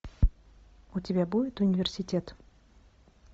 у тебя будет университет